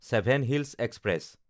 seven hills express